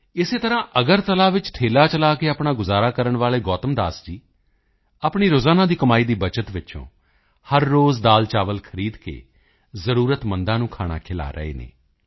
ਇਸੇ ਤਰ੍ਹਾਂ ਅਗਰਤਲਾ ਵਿੱਚ ਠੇਲ੍ਹਾ ਚਲਾ ਕੇ ਆਪਣਾ ਗੁਜ਼ਾਰਾ ਕਰਨ ਵਾਲੇ ਗੌਤਮ ਦਾਸ ਜੀ ਆਪਣੀ ਰੋਜ਼ਾਨਾ ਦੀ ਕਮਾਈ ਦੀ ਬੱਚਤ ਵਿੱਚੋਂ ਹਰ ਰੋਜ਼ ਦਾਲ਼ਚਾਵਲ ਖਰੀਦ ਕੇ ਜ਼ਰੂਰਤਮੰਦਾਂ ਨੂੰ ਖਾਣਾ ਖਿਲਾ ਰਹੇ ਹਨ